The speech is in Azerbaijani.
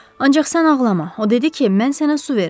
Ancaq sən ağlama, o dedi ki, mən sənə su verim.